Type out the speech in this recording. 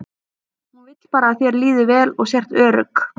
Hún vill bara að þér líði vel og sért örugg.